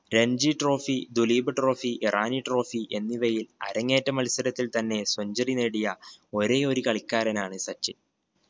Ranji trophy Duleep trophy Irani trophy എന്നിവയിൽ അരങ്ങേറ്റ മത്സരത്തിൽ തന്നെ centuary നേടിയ ഒരേയൊരു കളിക്കാരനാണ് സച്ചിൻ.